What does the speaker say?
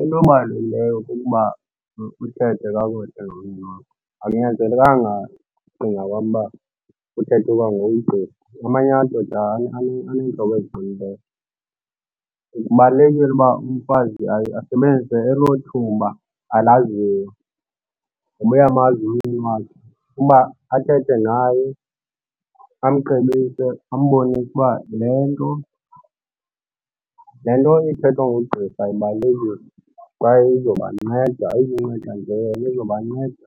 Into ebalulekileyo kukuba uthethe kakuhle nomntu wakho, akunyanzelekanga ngokucinga kwam uba uthethe kwangoqgirha. Amanye amadoda aneentloko eziqinileyo. Kubalulekile uba umfazi aye asebenzise elo thuba alaziyo ngoba uyamazi umyeni wakhe uba athethe naye amcebise, ambonise uba le nto le nto ithethwa ngugqirha ibalulekile kwaye izobanceda, ayizunceda nje yena, izobanceda